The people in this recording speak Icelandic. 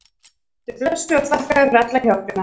Vertu blessaður og þakka þér fyrir alla hjálpina